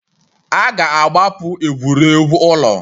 A ga-akagbu egwuregwu ụlọ.